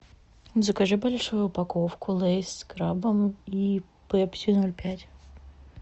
закажи большую упаковку лейс с крабом и пепси ноль пять